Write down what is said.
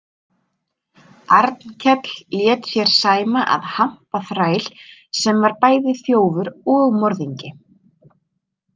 Arnkell lét sér sæma að hampa þræl sem var bæði þjófur og morðingi.